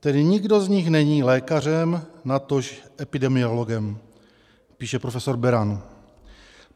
Tedy nikdo z nich není lékařem, natož epidemiologem, píše profesor Beran.